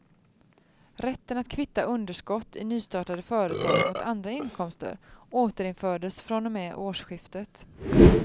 Rätten att kvitta underskott i nystartade företag mot andra inkomster återinfördes från och med årsskiftet.